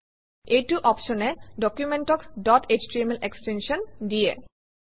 এইটো অপশ্যনে ডকুমেণ্টক ডট এছটিএমএল এক্সটেনশ্যন দিয়ে